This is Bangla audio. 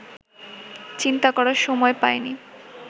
চিন্তা করার সময় পাইনি